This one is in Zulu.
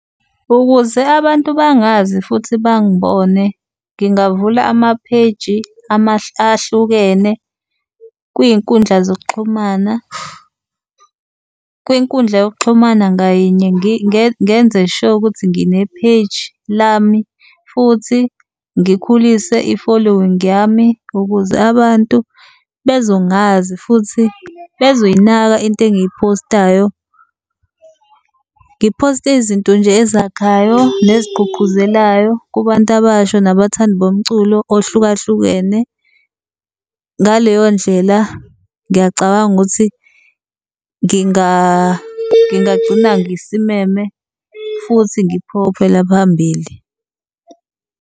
Ukuze abantu bangazi futhi bangibone ngingavula ama-page ahlukene kwiy'nkundla zokuxhumana. Kwinkundla yokuxhumana ngayinye ngenze sho ukuthi ngine-page lami futhi ngikhulise i-following yami ukuze abantu bezongazi futhi bezoyinaka into engiyi-post-ayo. Ngi-post-e izinto nje ezakhayo nezigquqguzelayo kubantu abasha nabathandi bomculo ohlukahlukene. Ngaleyo ndlela ngiyacabanga ukuthi ngingagcina ngisimeme futhi ngiphokophela phambili.